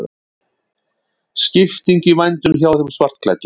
Skipting í vændum hjá þeim svartklæddu.